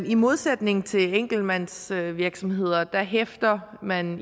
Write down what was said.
i modsætning til i enkeltmandsvirksomheder hæfter man